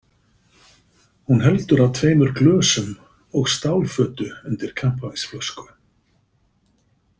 Hún heldur á tveimur glösum og stálfötu undir kampavínsflösku.